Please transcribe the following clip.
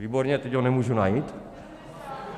Výborně, teď ho nemůžu najít.